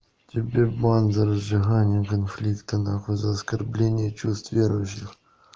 тебе бан за разжигание конфликта нахуй за оскорбеление чувств верующих